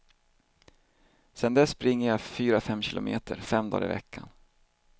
Sen dess springer jag fyra, fem kilometer fem dagar i veckan.